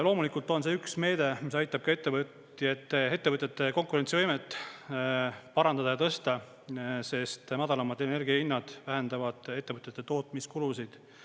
Loomulikult on see üks meede, mis aitab ka ettevõtete konkurentsivõimet parandada ja tõsta, sest madalamad energia hinnad vähendavad ettevõtete tootmiskulusid.